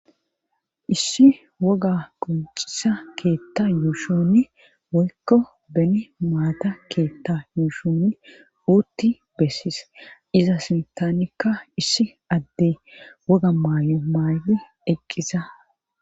issi woga qoncisa keetta yuushuni woykko bene maata keetta yuushuni wuutti bessis iza simtanikka issi adde woga maay7o maayli eqqisa